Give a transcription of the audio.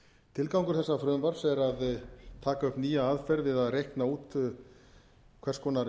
tilgangur þessa frumvarps er að taka upp nýja aðferð við að reikna út hvers konar